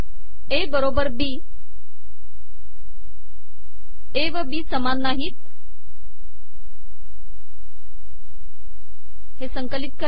ए बरोबर B A व B समान नाहीत